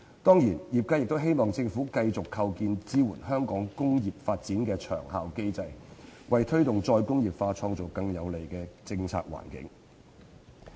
當然，業界亦希望政府繼續構建支援香港工業發展的長效機制，為推動"再工業化"創造更有利的政策環境。